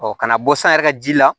ka na bɔ san yɛrɛ ka ji la